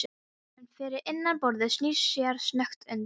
Maðurinn fyrir innan borðið snýr sér snöggt undan.